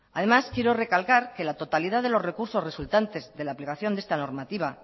además quiero recalcar que la totalidad de los recursos resultantes de la aplicación de esta normativa